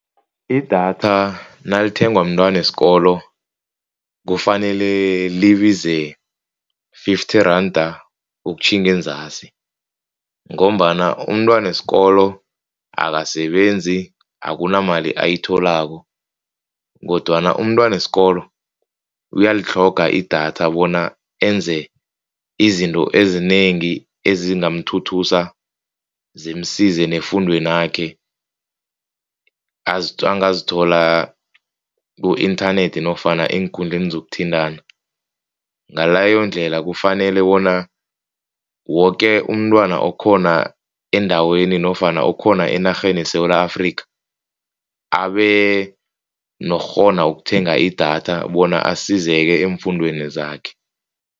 Idatha nalithengwa mntwana wesikolo kufanele libize fifty randa ukutjhinga enzasi. Ngombana umntwana wesikolo akasebenzi. Akunamali ayitholako kodwana umntwana wesikolo uyalitlhoga idatha bona enze izinto ezinengi ezingamthuthusa zimsize nefundwenakhe. Angazithola ku-internet nofana eenkundleni zokuthintana. Ngaleyondlela kufanele bona woke umntwana khona endaweni nofana okhona enarheni yeSewula Afrika abe nokukghona ukuthenga idatha bona asizeke eemfundweni zakhe.